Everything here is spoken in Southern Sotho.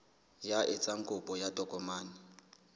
ya etsang kopo ya tokomane